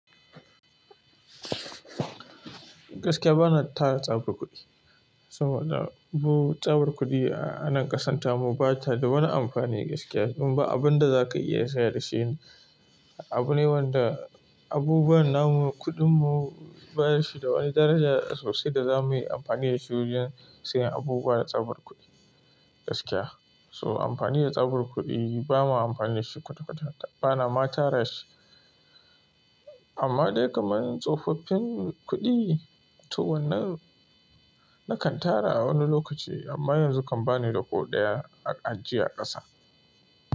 Gaskiya bana tara tsabar kuɗi. So na, bu tsabar kuɗi a nan ƙasar tamu bata da wani amfani gaskiya. Dan ba abun da zaka iya saya da shi ne. Abune wanda, abubuwan namu, kuɗin mu basu da daraja sosai da za muyi amfani dasu dan siyan abubuwa da tsabar kuɗi gaskiya. To amfani da tsabar kuɗi bamu amfani da shi kwata-kwata bana ma tara shi. Amma dai kamar tsofaffin kuɗi ne, tu wannan nakan tara a wani lokaci amma yanzu kan bani da ko ɗaya a ajiye a ƙasa.